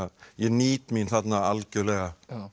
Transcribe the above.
ég nýt mín þarna algjörlega